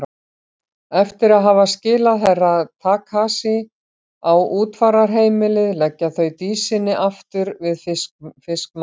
Eftir að hafa skilað Herra Takashi á útfararheimilið leggja þau Dísinni aftur við fiskmarkaðinn.